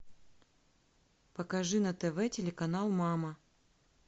покажи на тв телеканал мама